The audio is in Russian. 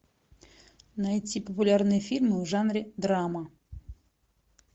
найти популярные фильмы в жанре драма